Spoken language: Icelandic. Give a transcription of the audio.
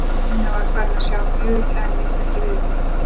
Karólína var farin að sjá mjög illa en vildi ekki viðurkenna það.